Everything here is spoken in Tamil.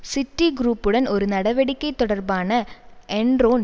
சிட்டி குரூப்புடன் ஒரு நடவடிக்கை தொடர்பான என்ரோன்